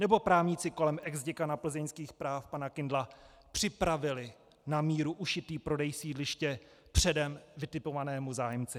Nebo právníci kolem exděkana plzeňských práv pana Kindla připravili na míru ušitý prodej sídliště předem vytipovanému zájemci?